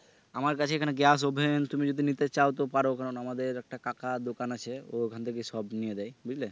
আমার কাছে এখানে গ্যাস oven তুমি যদি নিতে চাও তো পারো কেননা কেননা আমাদের একটা কাকার দোকান আছে তো ওখান থেকে সব নেয়া যায় বুঝলে